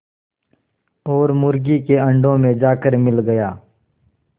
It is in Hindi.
और मुर्गी के अंडों में जाकर मिल गया